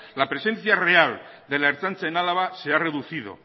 la presencia real de la ertzaintza en álava se ha reducido